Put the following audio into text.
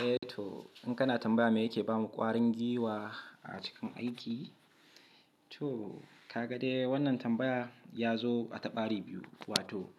Eh to in kana tambaya me yake bamu ƙwarin giwa a cikin aiki, to ka ga dai wannan tambaya ya zo a taɓari biyu. Wato